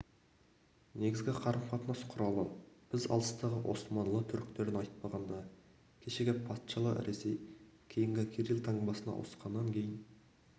негізгі қарым-қатынас құралы біз алыстағы османлы түріктерін айтпағанда кешегі патшалы ресей кейінгі кирилл таңбасына ауысқаннан кейін